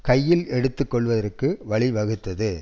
கையில் எடுத்துக்கொள்வதற்கு வழி வகுத்தது